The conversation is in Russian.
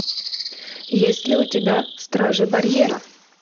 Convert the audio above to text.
есть ли у тебя стражи барьера